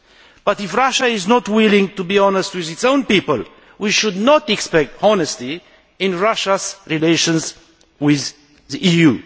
But if Russia is not willing to be honest with its own people we should not expect honesty in Russia's relations with the EU.